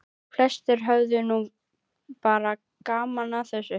Flestir höfðu nú bara gaman að þessu.